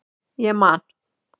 Ég man